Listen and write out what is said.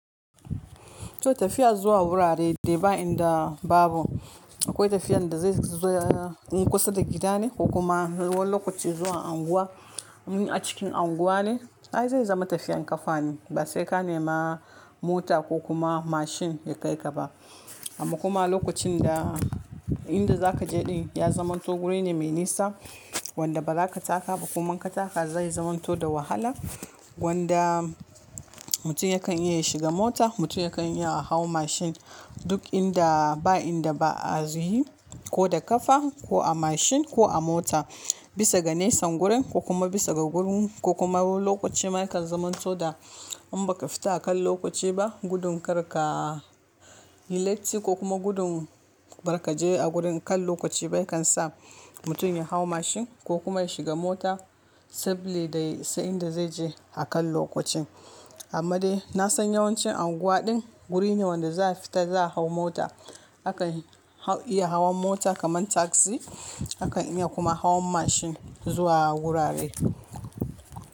To tafiya zuwa wurare dai ba inda babu, akwai tafiyan da zai zoya-- in kusa da gida ne ko kuma lokaci zuwa unguwa in a cikin unguwa ne. Ai zai zama tafiyan kafa ne ba sai ka nema mota ko kuma mashin ya kai ka ba. Amma kuma a lokacin da inda za ka je din ya zamanto guri ne mai nisa wanda ba za ka taka ba kuma in ka taka zai zamanto da wahala wanda mutum yakan iya ya shiga mota mutum yakan iya a hau mashin duk inda ba inda ba a z-- yi ko da kafa ko a mashin ko a mota bisa ga nesan gurin ko kuma bisa ga gurin ko kuma wani lokaci ma yakan zamanto da in ba ka fita akan lokaci ba gudun kar ka yi latti ko kuma gudun bar ka je a gurin kan lokaci ba ya kan sa mutum ya hau mashin ko kuma ya shiga mota sabili da isa in da zai je akan lokacin. Amma dai na san yawancin unguwa din guri ne wanda za a fita za a hau mota. A kan haw-- iya hawan mota kamar taksi. A kan iya kuma hawan mashin zuwa wurare.